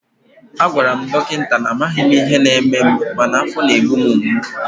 a gwara m dọkịta na amaghị m ihe na-eme m mana afọ na-egbu m mgbu